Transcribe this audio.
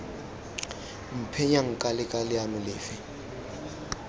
mphenya nka leka leano lefe